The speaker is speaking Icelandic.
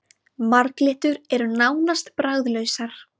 Marglyttur eru nánast bragðlausar.